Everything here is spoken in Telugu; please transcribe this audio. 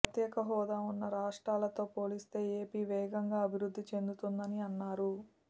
ప్రత్యేక హోదా ఉన్న రాష్ట్రాలతో పోలిస్తే ఏపీ వేగంగా అభివృద్ధి చెందుతుందని అన్నారు